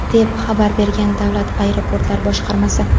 deb xabar bergan Davlat aeroportlar boshqarmasi.